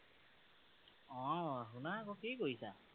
অ শুনা আঁক কি কৰিছা?